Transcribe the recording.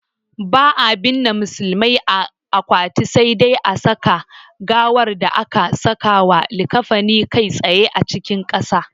Ba'a binne musulmai a akwati, sai dai a saka gawar da aka sakawa likkafani kai tsaye cikin ƙasa.